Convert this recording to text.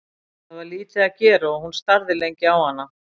Það var lítið að gera og hún starði lengi á hana.